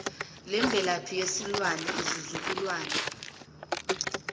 lemvelaphi yesilwane izizukulwana